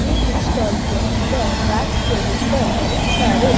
ये book stall के अंदर रैक्स के ऊपर बहुत सारे --